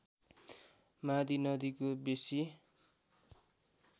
मादी नदीको बेसी